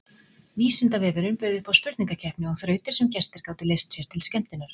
Vísindavefurinn bauð upp á spurningakeppni og þrautir sem gestir gátu leyst sér til skemmtunar.